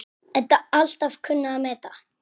Edda alltaf kunnað að meta.